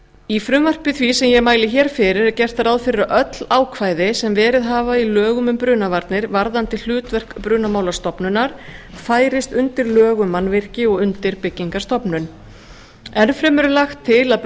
í frumvarpi því sem ég mæli hér fyrir er gert ráð fyrir að öll ákvæði sem verið hafa í lögum um brunavarnir varðandi hlutverk brunamálastofnunar færist undir lög um mannvirki og undir byggingarstofnun enn fremur er lagt til að